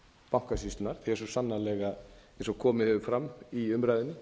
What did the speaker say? bankasýslunnar því að svo sannarlega eins og komið hefur fram í umræðunni